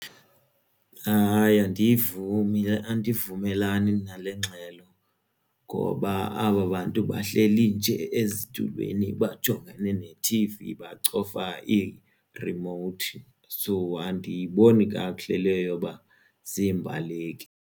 Hayi, andivumi le andivumelani nale ngxelo ngoba aba bantu bahleli nje ezitulweni bajongane nethivi bacofa iirimowuthi so andiyiboni kakuhle le yoba ziimbaleki.